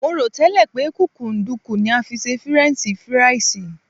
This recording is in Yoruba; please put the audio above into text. Mo rò tẹ́lẹ̀ pé kúkúǹdùkú ni a fi ṣe fírẹ́nṣí firàìsì